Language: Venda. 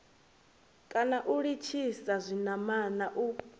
kana u litshisa zwinamana u